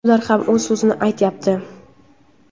ular ham o‘z so‘zini aytyapti.